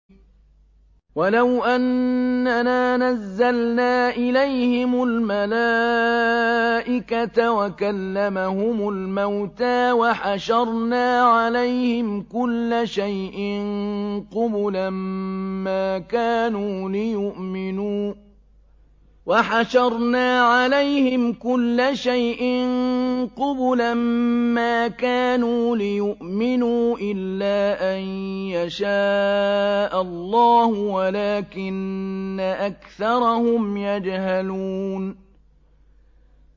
۞ وَلَوْ أَنَّنَا نَزَّلْنَا إِلَيْهِمُ الْمَلَائِكَةَ وَكَلَّمَهُمُ الْمَوْتَىٰ وَحَشَرْنَا عَلَيْهِمْ كُلَّ شَيْءٍ قُبُلًا مَّا كَانُوا لِيُؤْمِنُوا إِلَّا أَن يَشَاءَ اللَّهُ وَلَٰكِنَّ أَكْثَرَهُمْ يَجْهَلُونَ